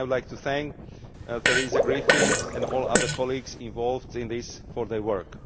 I would like to thank Theresa Griffin and all other colleagues involved in this for their